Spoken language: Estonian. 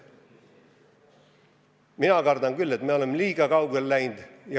Mina kardan küll, et oleme liiga kaugele läinud.